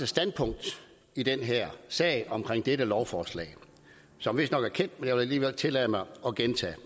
standpunkt i den her sag om dette lovforslag som vistnok er kendt vil alligevel tillade mig at gentage